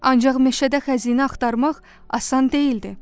Ancaq meşədə xəzinə axtarmaq asan deyildi.